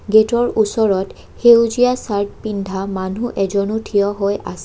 গেটৰ ওচৰত সেউজীয়া চাৰ্ট পিন্ধা মানুহ এজনো থিয় হৈ আছে।